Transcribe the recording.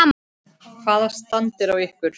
Hvaða stand er á ykkur?